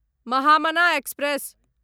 Mahamana express